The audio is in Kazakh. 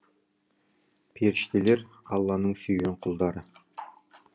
періштелер алланың сүйген құлдары